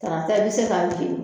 Tarata i be se ka jeni